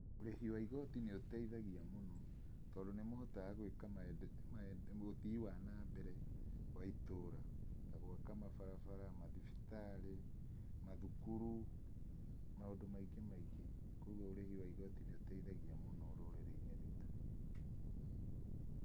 Ũrihi wa igoti nĩ ũteithagia mũno, tondũ ni mũhotaga gwĩka ũthii wa na mbere wa itura, gwaka mabarabara, mathibitari, mathukuru, maũndũ maingĩ maingĩ. Koguo ũrĩhi wa igoti nĩ ũteithagia mũno rũrĩrĩ-inĩ rwitũ.